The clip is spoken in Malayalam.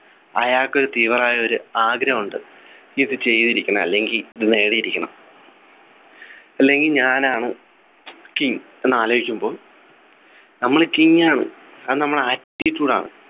അയാക്ക് ഒരു തീവ്രമായ ഒരു ആഗ്രഹമുണ്ട് ഇത് ചെയ്തിരിക്കണം അല്ലെങ്കിൽ ഇത് നേടിയിരിക്കണം അല്ലെങ്കി ഞാനാണ് king എന്ന് ആലോചിച്ചുമ്പോ നമ്മൾ king ആണ് അത് നമ്മുടെ attitude ആണ്